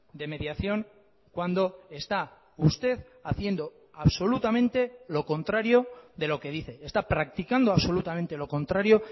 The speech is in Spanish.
de mediación cuando está usted haciendo absolutamente lo contrario de lo que dice está practicando absolutamente lo contrario